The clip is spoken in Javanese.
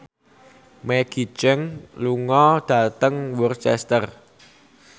Maggie Cheung lunga dhateng Worcester